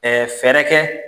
fɛɛrɛ kɛ